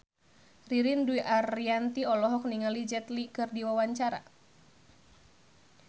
Ririn Dwi Ariyanti olohok ningali Jet Li keur diwawancara